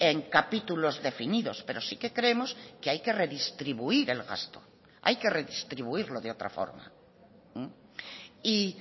en capítulos definidos pero sí que creemos que hay que redistribuir el gasto hay que redistribuirlo de otra forma y